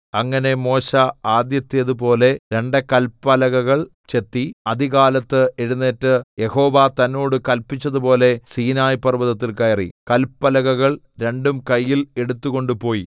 അങ്ങനെ മോശെ ആദ്യത്തേതുപോലെ രണ്ട് കല്പലകകൾ ചെത്തി അതികാലത്ത് എഴുന്നേറ്റ് യഹോവ തന്നോട് കല്പിച്ചതുപോലെ സീനായി പർവ്വതത്തിൽ കയറി കല്പലകകൾ രണ്ടും കയ്യിൽ എടുത്തുകൊണ്ട് പോയി